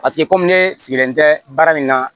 Paseke komi ne sigilen tɛ baara in kan